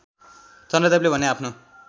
चन्द्रदेवले भने आफ्नो